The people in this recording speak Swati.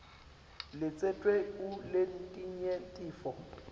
latsetfwe kuletinye titfo